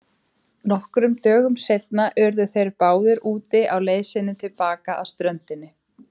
Nokkrum dögum seinna urðu þeir báðir úti á leið sinni til baka að ströndinni.